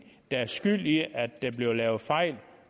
der er skyld i at der bliver lavet fejl